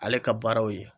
Ale ka baaraw ye